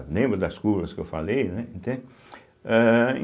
Lembra das curvas que eu falei, né? entende âh